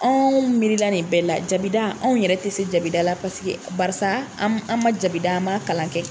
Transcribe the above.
Anw miirila nin bɛɛ la jabida anw yɛrɛ tɛ se jabida la paseke barisa an man jabida an man a kalan kɛ.